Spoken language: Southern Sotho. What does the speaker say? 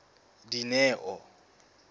dineo